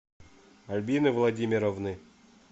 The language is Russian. альбины владимировны